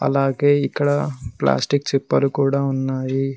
అలాగే ఇక్కడ ప్లాస్టిక్ చిప్పలు కూడా ఉన్నాయి.